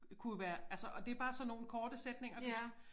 Kunne jo være altså og det bare sådan nogle korte sætninger du skal